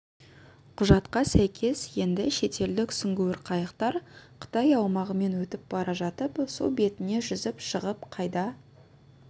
құжатқа сәйкес енді шетелдік сүңгуір қайықтар қытай аумағымен өтіп бара жатып су бетіне жүзіп шығып қайда